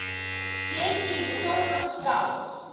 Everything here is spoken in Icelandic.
Setjið í stóra skál.